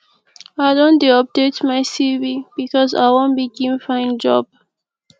i don dey update my cv because i wan begin find job